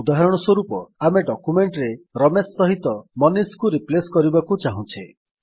ଉଦାହରଣ ସ୍ୱରୂପ ଆମେ ଡକ୍ୟୁମେଣ୍ଟ୍ ରେ ରମେଶ ସହିତ ମନିଷ କୁ ରିପ୍ଲେସ୍ କରିବାକୁ ଚାହୁଁଛେ